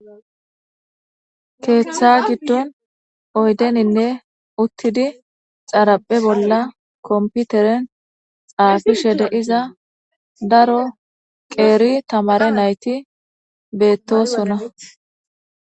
Keeththa giddon oydeninne uttidi xaraphe bolla komputeren xaafishe de iza daro qeeri tamare nayti beettosona.